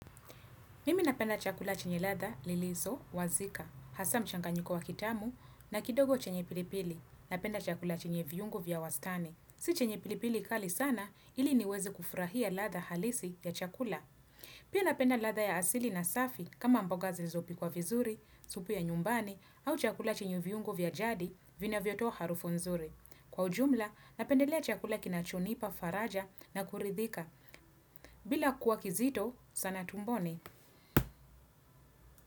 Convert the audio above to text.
Mimi napenda chakula chenye ladha, lilizo, wazika, hasa mchanganyiko wa kitamu na kidogo chenye pilipili. Napenda chakula chenye viungo vya wastani. Si chenye pilipili kali sana ili niweze kufurahia ladha halisi ya chakula. Pia napenda ladha ya asili na safi kama mboga zilizo pikwa vizuri, supu ya nyumbani au chakula chenye viungo vya jadi vinavyotoa harufu nzuri. Kwa ujumla, napendelea chakula kinachonipa, faraja na kuridhika. Bila kuwa kizito, sana tumboni.